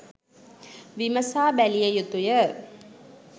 විමසා බැලිය යුතු ය